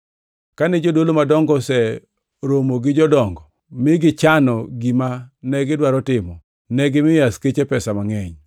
Kane jodolo madongo oseromo gi jodongo mi gichano gima negidwaro timo, negimiyo askeche pesa mangʼeny,